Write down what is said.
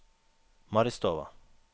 Maristova